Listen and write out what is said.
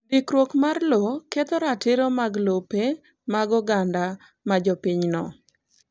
Ndikruok mar lowo ketho ratiro mag lope mag oganda ma jopinyno.